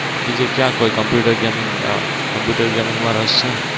બીજે ક્યાં કોઈ કમ્પ્યુટર gaming કમ્પ્યુટર gaming માં રસ છે?